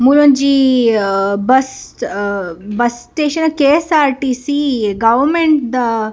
ಮೂಲೊಂಜಿ bus bus station KSRTC ಗವರ್ಮೆಂಟ್‌ದ --